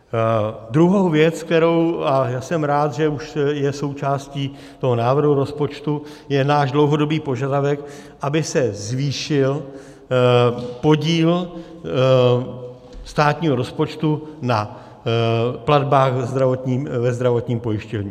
Druhou věc, kterou, a já jsem rád, že už je součástí toho návrhu rozpočtu, je náš dlouhodobý požadavek, aby se zvýšil podíl státního rozpočtu na platbách ve zdravotním pojištění.